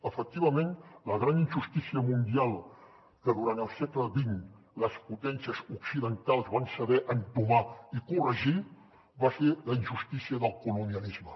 efectivament la gran injustícia mundial que durant el segle xx les potències occidentals van saber entomar i corregir va ser la injustícia del colonialisme